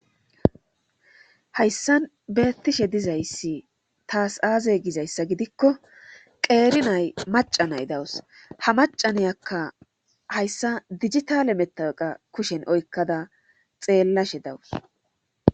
hayssan beettishe dizayssi taas aaze gizayssa gidikko qeeri nay maca nay dawus ha macaniyakka hayssa dijitale mettaqa kushen oykkada xeellashe dawus